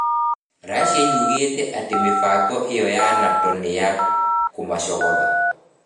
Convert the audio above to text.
Racia yugĩte atĩ mĩbango ĩyo ya NATO nĩ ya kũmacogotha.